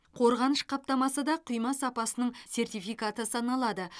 қорғаныш қаптамасы да құйма сапасының сертификаты саналады